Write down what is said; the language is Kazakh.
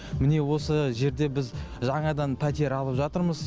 міне осы жерде біз жаңадан пәтер алып жатырмыз